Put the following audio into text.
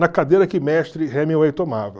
Na cadeira que o mestre Hemingway tomava.